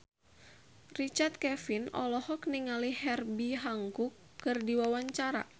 Richard Kevin olohok ningali Herbie Hancock keur diwawancara